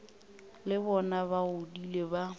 le bona ba godile ba